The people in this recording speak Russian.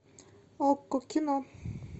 окко кино